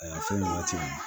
Aa fɛn nin waati in